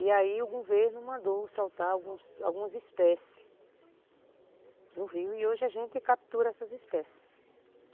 E aí o governo mandou soltar algumas algumas espécies no rio e hoje a gente captura essas espécies.